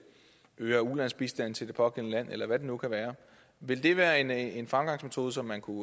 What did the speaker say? øger ulandsbistanden til det pågældende land eller hvad det nu kan være ville det være en en fremgangsmetode som man kunne